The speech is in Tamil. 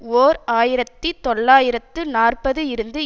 ஓர் ஆயிரத்தி தொள்ளாயிரத்து நாற்பது இருந்து